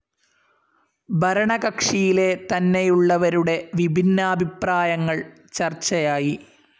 ഭരണകക്ഷിയിലെ തന്നെയുള്ളവരുടെ വിഭിന്നാഭിപ്രായങ്ങൾ ചർച്ചയായി.